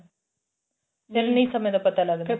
ਫਿਰ ਨਹੀਂ ਸਮੇਂ ਦਾ ਪਤਾ ਲੱਗਦਾ